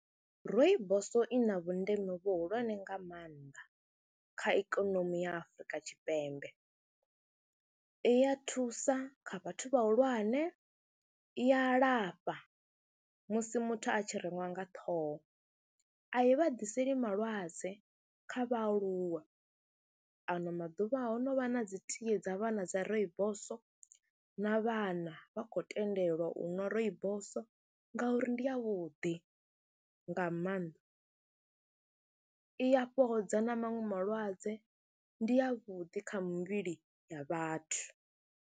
Rooibos i na vhundeme vhuhulwane nga maanḓa kha ikonomi ya Afrika Tshipembe, i ya thusa kha vhathu vhahulwane, i a lafha musi muthu a tshi reṅwa nga ṱhoho, a i vha ḓiseli malwadze kha vhaaluwa. Ano maḓuvha ho no vha na dzi tie dza vhana dza rooibos na vhana vha khou tendelwa u ṅwa rooibos ngauri ndi yavhuḓi nga maanḓa, i ya fhodza na maṅwe malwadze, ndi yavhuḓi kha mivhili ya vhathu.